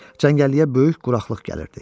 Cəngəlliyə böyük quraqlıq gəlirdi.